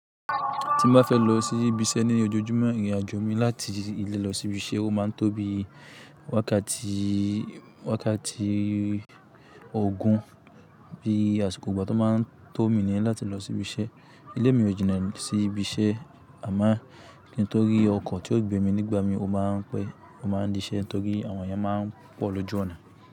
Ti mo ba fe lọ sibi iṣẹ ni ojoojumọ, irinajo mi lati ile lọ sibi iṣẹ o ma n tó bi wákàtí, wákàtí ogún. Bi àsìkò gbọ to ma n tó mi ni lati lọ sibi iṣẹ. Ile mi o jina si ibi iṣẹ ama nitori ọkọ ti o gbe mi nigbamii o ma n pe, o ma n disẹ nitori àwọn ènìyàn ma n pọ lójú ọna.